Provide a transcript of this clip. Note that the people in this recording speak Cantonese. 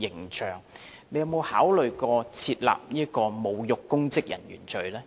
局長有否考慮訂立侮辱公職人員罪呢？